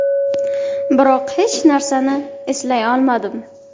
Biroq hech narsani eslay olmadim.